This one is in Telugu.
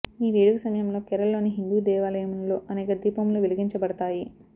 ఈ వేడుక సమయంలో కేరళలోని హిందూ దేవాలయములలో అనేక దీపములు వెలిగించబడతాయి